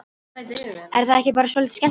Er það ekki bara svolítið skemmtilegt?